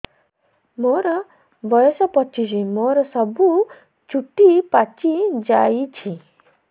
ମୋର ବୟସ ପଚିଶି ମୋର ସବୁ ଚୁଟି ପାଚି ଯାଇଛି